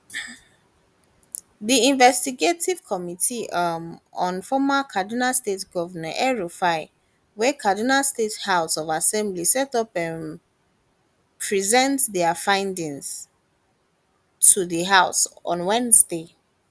di investigative committee um on former kaduna state govnor elrufai wey kaduna state house of assembly set up um present dia findings to di house on wednesday